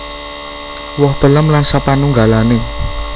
Woh pellem lan sapanunggalane